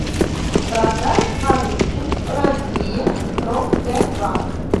продать валюту россия промсвязьбанк